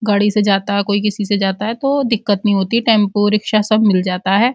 गाड़ी से जाता है कोई किसी से जाता है तो दिक्कत नहीं होती है। टेम्पू रिक्शा सब मिल जाता है।